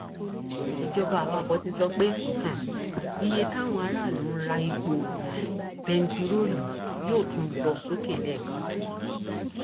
ìjọba àpapọ ti sọ pé um iye táwọn aráàlú ń ra epo um bẹntiróòlù yóò tún lọ sókè lẹẹkan sí i